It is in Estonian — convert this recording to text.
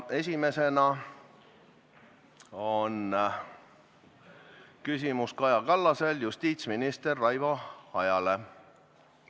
Esimesena on küsimus Kaja Kallasel justiitsminister Raivo Aegile.